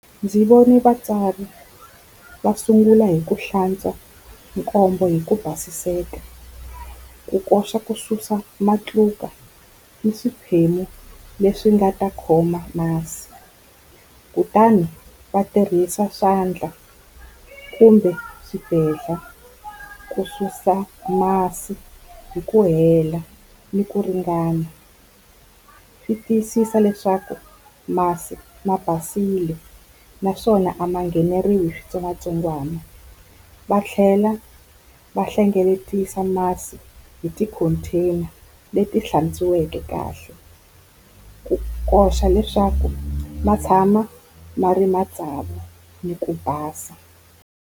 Ndzi vone vatsari va sungula hi ku hlantswa nkombe hi ku basiseka, ku koxa ku susa matluka ni swiphemu leswi nga ta khoma masi. Kutani va tirhisa swandla kumbe swibedlha ku susa masi hi ku hela ni ku ringana. Swi tiyisisa leswaku masi ma basile naswona a ma ngheneriwi hi switsongwatsongwana. Va tlhela va hlengeletisa masi hi ti-container leti hlantsweke kahle ku koxa leswaku ma tshama ma ri matsavu ni ku basa.